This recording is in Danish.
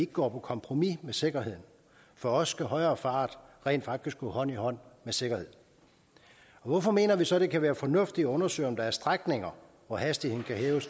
går på kompromis med sikkerheden for os bør højere fart rent faktisk gå hånd i hånd med sikkerhed hvorfor mener vi så at det kan være fornuftigt at undersøge om der er strækninger hvor hastigheden